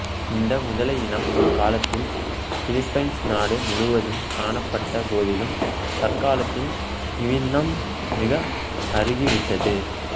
இந்த முதலையினம் ஒரு காலத்தில் பிலிப்பீன்சு நாடு முழுவதும் காணப்பட்ட போதிலும் தற்காலத்தில் இவ்வினம் மிக அருகிவிட்டது